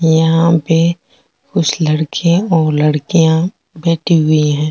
यहाँ पे कुछ लड़के और लड़किया बैठी हुई है।